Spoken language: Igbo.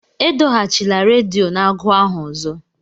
Edoghachila redio n'agu ahụ ọzọ!